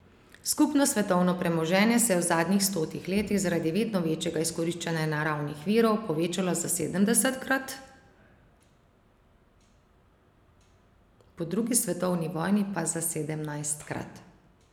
Skupno svetovno premoženje se je v zadnjih stotih letih zaradi vedno večjega izkoriščanja naravnih virov povečalo za sedemdesetkrat, po drugi svetovni vojni pa za sedemnajstkrat.